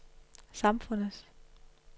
samfundets